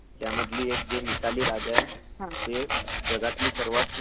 नाही नाही ...खूप चांगली माहिती दिली तू....त्याबद्दल धन्यवाद